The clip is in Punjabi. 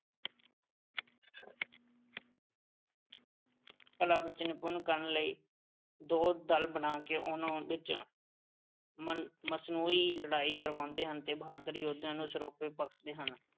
ਕਲਾ ਵਿੱਚ ਨਿਪੁੰਨ ਕਰਨ ਲਈ ਦੋ ਦਲ ਬਣਾ ਕੇ ਉਨ੍ਹਾਂ ਨੂੰ ਉਹਦੇ ਚ ਮਸਨੂਈ ਲੜਾਈ ਕਰਵਾਉਂਦੇ ਹਨ ਤੇ ਬਹਾਦਰ ਯੋਧਿਆਂ ਨੂੰ ਸਰੋਪੇ ਬਖਸ਼ਦੇ ਹਨ।